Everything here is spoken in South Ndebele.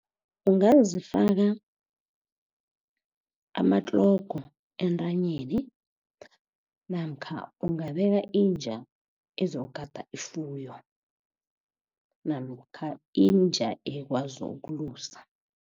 Ungazifaka amatlogo entanyeni namkha ungabeka inja ezokugada ifuyo namkha inja ekwazi ukulusa.